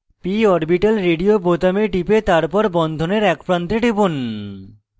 p orbital radio বোতামে টিপে তারপর বন্ধনের এক প্রান্তে টিপুন